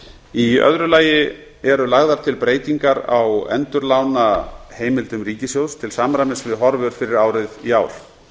í öðru lagi eru lagðar til breytingar á endurlánaheimildum ríkissjóðs til samræmis við horfur fyrir árið í ár